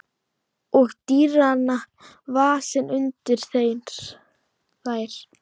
Og dýran vasa undir þær.